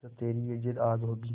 जब तेरी ये जिद्द आग होगी